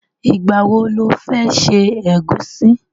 Ìgbà wo lo fẹ́ ṣe ẹ̀gúsí?